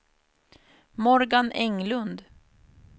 Morgan Englund